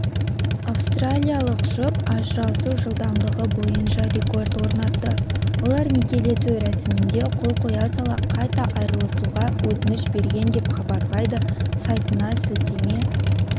австралиялық жұп ажырасу жылдамдығы бойынша рекорд орнатты олар некелесу рәсімінде қол қоя сала қайта айырылысуға өтініш берген деп хабарлайды сайтына сілтеме